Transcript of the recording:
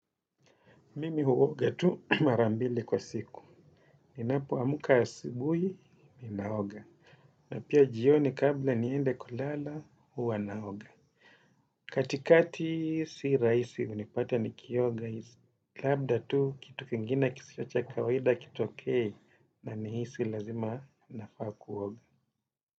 Mimi huoga tu marambili kwa siku. Ninapo amka asibuhi, ninaoga. Na pia jioni kabla niende kulala, huwa naoga. Katikati si raisi unipata nikioga. Labda tu kitu kingine kisiyo cha kawaida kitoke na nihisi lazima nafaa kuoga.